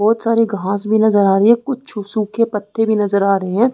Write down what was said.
बहुत सारी घास भी नजर आ रही है कुछ सूखे पत्ते भी नजर आ रहे हैं।